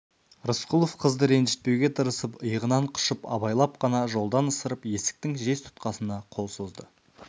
рысқұлов қызды ренжітпеуге тырысып иығынан құшып абайлап қана жолдан ысырып есіктің жез тұтқасына қол созды